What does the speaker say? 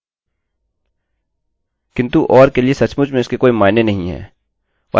किन्तु or के लिए सचमुच में इसके कोई मायने नहीं है और आप सोच सकते हैं क्या होगा